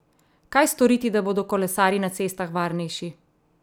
Kaj storiti, da bodo kolesarji na cestah varnejši?